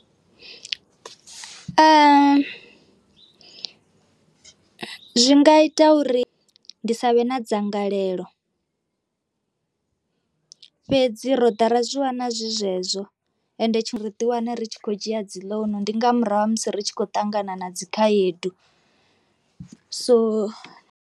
Zwi nga ita uri ndi sa vhe na dzangalelo fhedzi ro ḓa ra zwi wana zwi zwezwo ende ri ḓi wane ri tshi khou dzhia dzi ḽounu ndi nga murahu ha musi ri tshi khou ṱangana na dzikhaedu so.